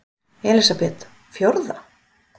Elísabet: Fjórða?